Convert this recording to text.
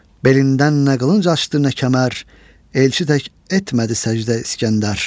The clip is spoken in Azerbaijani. Belindən nə qılınc açdı nə kəmər, elçi tək etmədi səcdə İskəndər.